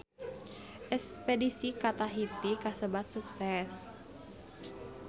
Espedisi ka Tahiti kasebat sukses